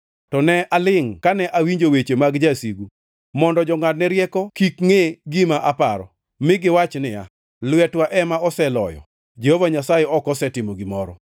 to ne alingʼ kane awinjo weche mag jasigu mondo jongʼadne rieko kik ngʼe gima aparo, mi giwach niya, “Lwetwa ema oseloyo, Jehova Nyasaye ok osetimo gimoro.”